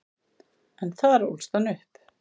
En þar ólst hann upp.